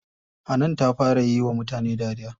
Hanan ta fara yiwa mutane dariya.